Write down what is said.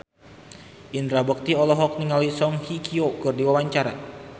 Indra Bekti olohok ningali Song Hye Kyo keur diwawancara